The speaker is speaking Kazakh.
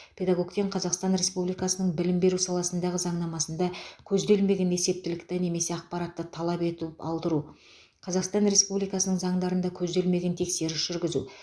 педагогтен қазақстан республикасының білім беру саласындағы заңнамасында көзделмеген есептілікті немесе ақпаратты талап етіп алдыру қазақстан республикасының заңдарында көзделмеген тексеру жүргізу